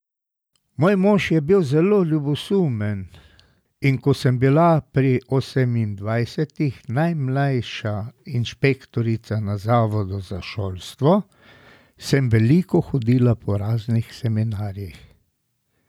Moj mož je bil zelo ljubosumen, in ko sem bila pri osemindvajsetih najmlajša inšpektorica na Zavodu za šolstvo, sem veliko hodila po raznih seminarjih.